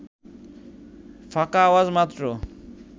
ফাঁকা আওয়াজ মাত্র